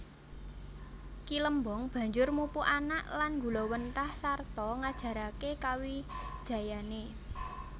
Ki Lembong banjur mupu anak lan nggulawentah sarta ngajaraké kawijayané